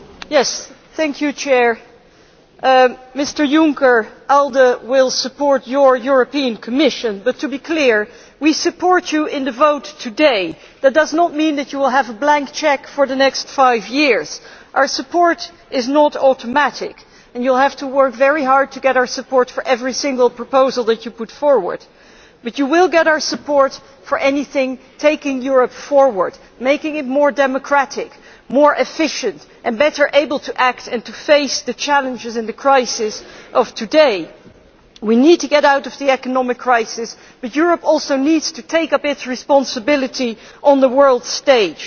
Mr President, I would like to say to Mr Juncker that ALDE will support his European Commission, but Mr Juncker, let us be clear, we support you in the vote today that does not mean that you will have a blank cheque for the next five years. Our support is not automatic and you will have to work very hard to get our support for every single proposal that you put forward. But you will get our support for anything taking Europe forward, making it more democratic, more efficient and better able to act and to face the challenges and the crises of today. We need to get out of the economic crisis, but Europe also needs to take up its responsibility on the world stage.